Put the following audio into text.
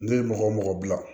Ne ye mɔgɔ o mɔgɔ bila